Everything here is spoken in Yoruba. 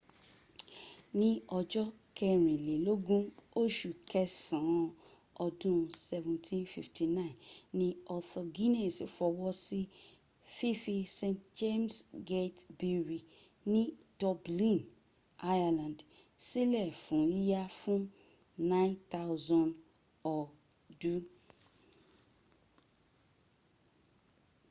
ní ọjọ́ kẹrìnlélógún oṣù kẹsàn án ọdún 1759 ni arthur guinness fọwọ́ sí fífí st james' gate brewery ni dublin ireland sílẹ̀ fún yíya fún 9,000 ọdú